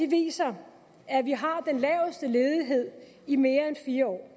viser at vi har den laveste ledighed i mere end fire år